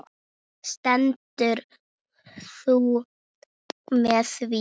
Stendur þú með því?